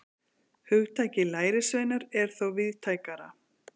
hugtakið lærisveinar er þó víðtækara